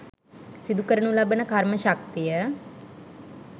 සිදුකරනු ලබන කර්ම ශක්තිය